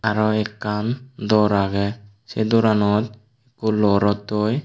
araw ekkan dor aage se doranot hulo rottoi.